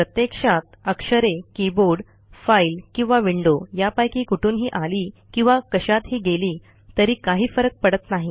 प्रत्यक्षात अक्षरे keyboard file किंवा विंडो यापैकी कुठूनही आली किंवा कशातही गेली तरी काही फरक पडत नाही